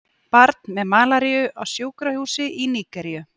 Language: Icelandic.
Barn með malaríu á sjúkrahúsi í Nígeríu.